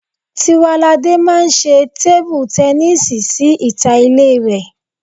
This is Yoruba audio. Tiwaladé máa ṣe tébú tẹníìsì sí ìta ilé rẹ